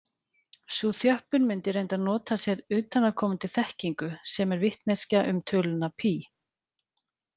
Sú þjöppun mundi reyndar nota sér utanaðkomandi þekkingu, sem er vitneskja um töluna pí.